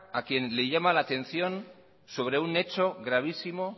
a quien le llama la atención sobre un hecho gravísimo